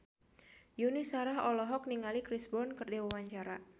Yuni Shara olohok ningali Chris Brown keur diwawancara